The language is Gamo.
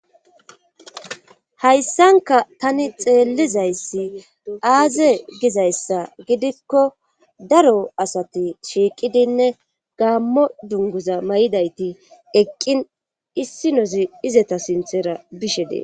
hayssanka tani xeellizayssi aaze gizayssa gidikko daro asati shiiqidinne gaammo dunguza may7idayti eqqin issi nozi izeta sinthera bishe dees